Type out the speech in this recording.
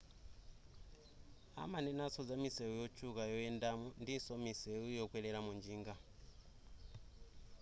amanenaso za misewu yotchuka yoyendamo ndinso misewu yokwereramo njinga